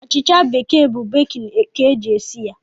Achịcha bekee bụ bekin ka e ji esi ya.